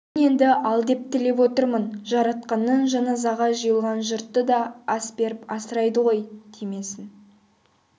мені енді ал деп тілеп отырмын жаратқаннан жаназаға жиылған жұртты да ас беріп асырайды ғой тимесін